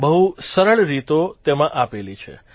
બહુ સરળ રીતો તેમાં આપેલી છે